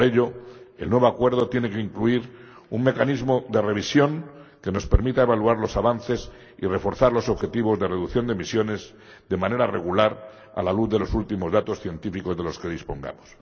Por ello, el nuevo acuerdo tiene que incluir un mecanismo de revisión que nos permita evaluar los avances y reforzar los objetivos de reducción de emisiones de manera regular a la luz de los últimos datos científicos de los que dispongamos.